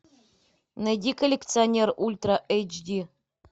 найди коллекционер ультра эйч ди